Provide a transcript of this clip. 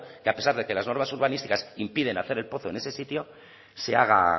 que a pesar de que las normas urbanísticas impiden hacer el pozo en ese sitio se haga